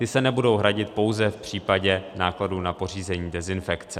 Ty se nebudou hradit pouze v případě nákladů na pořízení dezinfekce.